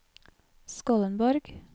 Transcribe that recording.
Skollenborg